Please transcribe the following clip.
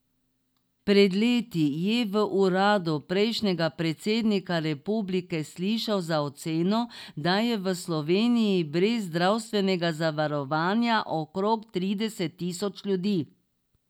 Pred leti je v uradu prejšnjega predsednika republike slišal za oceno, da je v Sloveniji brez zdravstvenega zavarovanja okrog trideset tisoč ljudi.